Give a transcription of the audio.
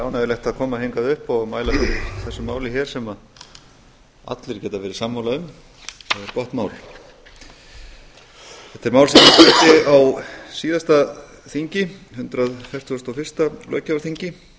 ánægjulegt að koma hingað upp og mæla fyrir þessu máli hér sem allir geta verið sammála um það er gott mál þetta er mál sem ég flutti á síðasta þingi hundrað fertugasta og fyrsta löggjafarþingi